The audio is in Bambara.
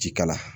Ji kala